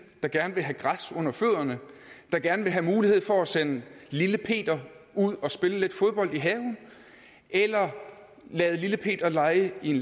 der gerne vil have græs under fødderne der gerne vil have mulighed for at sende lille peter ud at spille fodbold i haven eller lade lille peter lege i en